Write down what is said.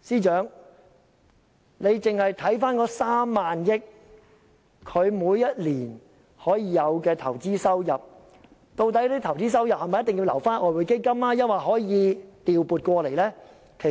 司長若將其中3萬億元用作投資，這些投資收入是否一定要留在外匯基金中，還是可以調撥到其他用途？